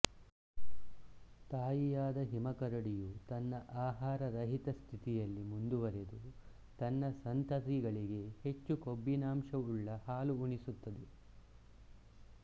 ತಾಯಿಯಾದ ಹಿಮಕರಡಿಯು ತನ್ನ ಆಹಾರ ರಹಿತ ಸ್ಥಿತಿಯಲ್ಲಿ ಮುಂದುವರೆದು ತನ್ನ ಸಂತತಿಗಳಿಗೆ ಹೆಚ್ಚು ಕೊಬ್ಬಿನಾಂಶವುಳ್ಳ ಹಾಲು ಉಣಿಸುತ್ತದೆ